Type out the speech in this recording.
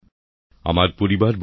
নতুনদিল্লি ২৭শে আগস্ট ২০২৩